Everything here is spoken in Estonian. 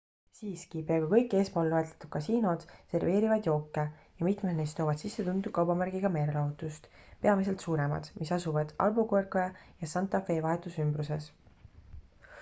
siiski peaaegu kõik eespool loetletud kasiinod serveerivad jooke ja mitmed neist toovad sisse tuntud kaubamärgiga meelelahutust peamiselt suuremad mis asuvad albuquerque ja santa fe vahetus ümbruses